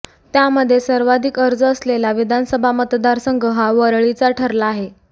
त्यामध्ये सर्वाधिक अर्ज असलेला विधानसभा मतदारसंघ हा वरळीचा ठरला आहे